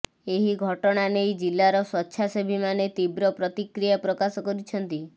ଏହି ଘଟଣା ନେଇ ଜିଲ୍ଲାର ସ୍ୱେଚ୍ଛାସେବୀମାନେ ତୀବ୍ର ପ୍ରତିକ୍ରୟା ପ୍ରକାଶ କରିଛନ୍ତି